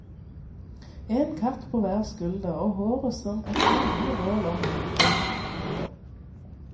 En katt på hver skulder og håret som et flammende bål om hodet. punktum